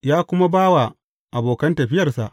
Ya kuma ba wa abokan tafiyarsa?